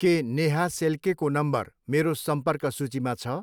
के नेहा सेल्केको नम्बर मेरो सम्पर्क सूचीमा छ?